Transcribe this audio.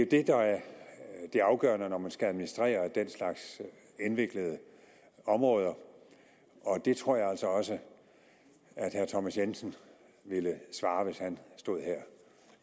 det der er det afgørende når man skal administrere den slags indviklede områder og det tror jeg altså også at herre thomas jensen ville svare hvis han stod her